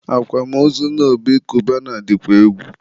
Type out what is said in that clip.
akwamozu nne Obi Cubana dịkwa egwu